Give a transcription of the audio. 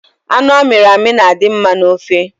Anụ amiri emi na-adi mma n’ofe